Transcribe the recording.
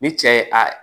Ni cɛ ye a